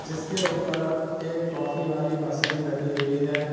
जिसके ऊपर एक कॉफी वाली मशीन रखी हुई है।